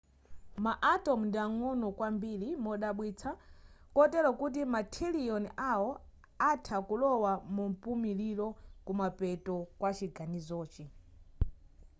ma atom ndi ang'ono kwambiri modabwitsa kotero kuti mathirilioni awo atha kulowa mumpumuliro kumapeto kwa chiganizochi